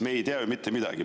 Me ei tea mitte midagi.